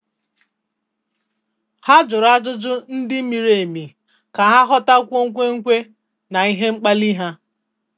Há jụ̀rụ́ ájụ́jụ́ ndị miri emi kà há ghọ́tákwúọ́ ekwemekwe na na ihe mkpali ha.